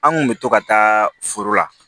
An kun bɛ to ka taa foro la